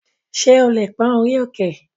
Ṣé o lè pón orí òkè?